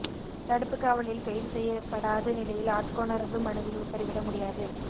தடுப்பு காவலில் கைது செய்யப்படாத நிலையில் ஆட்கொணர்வு மனுவில் உத்தரவிட முடியாது